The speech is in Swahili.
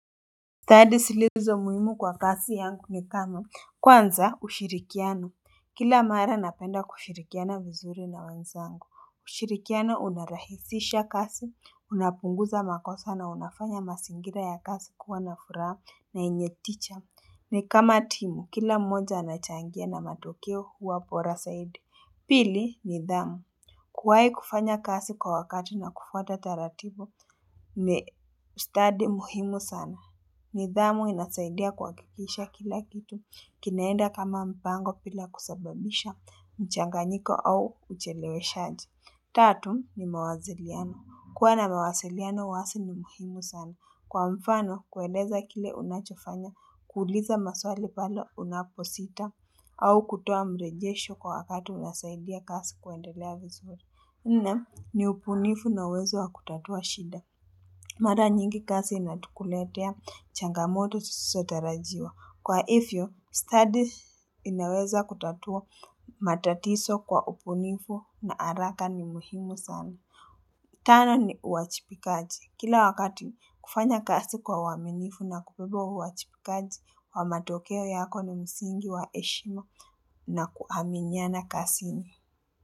Study zilizo muhimu kwa kazi yangu ni kama kwanza ushirikiano kila mara napenda kushirikiana vizuri na wenzangu ushirikiano unarahisisha kazi unapunguza makosa na unafanya mazingira ya kazi kuwa na furaha na yenye ticha ni kama timu kila mmoja anachangia na matokeo huwa bora zaidi pili nidhamu kuwahi kufanya kazi kwa wakati na kufuata taratibu ni study muhimu sana nidhamu inatusaidia kuhakikisha kila kitu. Kinaenda kama mpango bila kusababisha mchanganyiko au ucheleweshaji. Tatu ni mawasiliano. Kuwa na mawasiliano wazi ni muhimu sana. Kwa mfano, kueleza kile unachofanya, kuuliza maswali pale unaposita, au kutoa mrejesho kwa wakati unasaidia kazi kuendelea vizuri. Nne ni ubunifu na uwezo wa kutatua shida. Mara nyingi kazi inakuletea changamoto zisizo tarajiwa. Kwa hivyo, study inayoweza kutatua matatizo kwa ubunifu na haraka ni muhimu sana. Tano ni uajibikaji. Kila wakati kufanya kazi kwa uwaminifu na kubeba huo uajibikaji wa matokeo yako na msingi wa heshima na kuaminiana kazini.